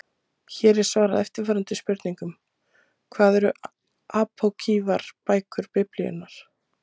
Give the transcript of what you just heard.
Hér er svarað eftirfarandi spurningum: Hvað eru apókrýfar bækur Biblíunnar?